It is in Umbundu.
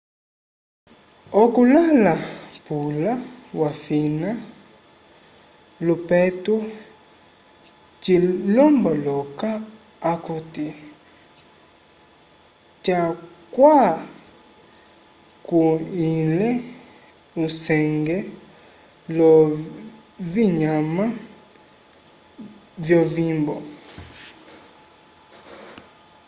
oku lala pula wafina lopetu cilomboloka akuti catwakulihile usenge lovinyama vyovimbo